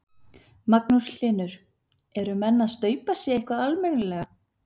Magnús Hlynur: Eru menn að staupa sig eitthvað almennilega?